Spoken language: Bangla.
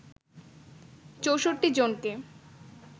৬৪ জনকে